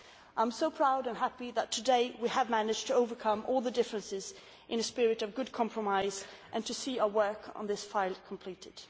I am so proud and happy that today we have managed to overcome all the differences in a spirit of good compromise and to see our work on this file completed.